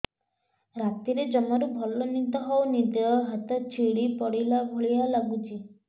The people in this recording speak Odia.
ରାତିରେ ଜମାରୁ ଭଲ ନିଦ ହଉନି ଦେହ ହାତ ଛିଡି ପଡିଲା ଭଳିଆ ଲାଗୁଚି